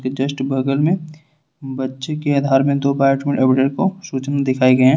Just बगल में बच्चे के आधार में दो को सूची में दिखाए गए है।